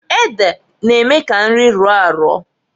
Ede na-eme ka nri rọọ arọọ.